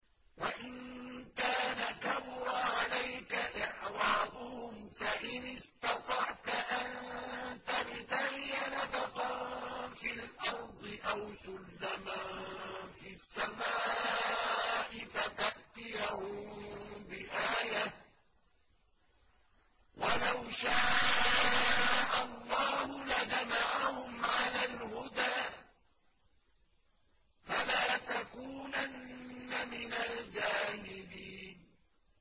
وَإِن كَانَ كَبُرَ عَلَيْكَ إِعْرَاضُهُمْ فَإِنِ اسْتَطَعْتَ أَن تَبْتَغِيَ نَفَقًا فِي الْأَرْضِ أَوْ سُلَّمًا فِي السَّمَاءِ فَتَأْتِيَهُم بِآيَةٍ ۚ وَلَوْ شَاءَ اللَّهُ لَجَمَعَهُمْ عَلَى الْهُدَىٰ ۚ فَلَا تَكُونَنَّ مِنَ الْجَاهِلِينَ